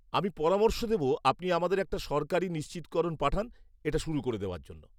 আমি পরামর্শ দেব আপনি আমাদের একটা সরকারী নিশ্চিতকরণ পাঠান এটা শুরু করে দেওয়ার জন্য।